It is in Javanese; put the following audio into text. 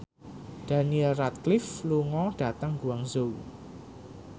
Daniel Radcliffe lunga dhateng Guangzhou